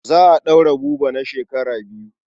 Za a ɗaure Buba na shekara biyu.